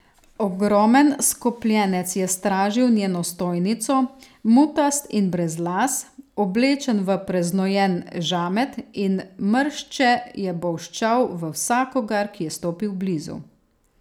Ogromen skopljenec je stražil njeno stojnico, mutast in brez las, oblečen v preznojen žamet, in mršče je bolščal v vsakogar, ki je stopil blizu.